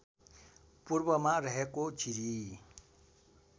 पूर्वमा रहेको जिरी